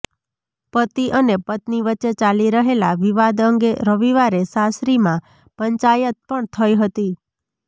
પતિ અને પત્ની વચ્ચે ચાલી રહેલા વિવાદ અંગે રવિવારે સાસરીમાં પંચાયત પણ થઇ હતી